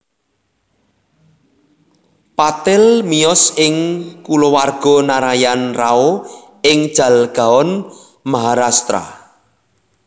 Patil miyos ing kulawarga Narayan Rao ing Jalgaon Maharashtra